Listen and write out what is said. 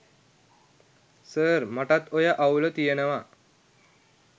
sir මටත් ඔය අවුල තියනව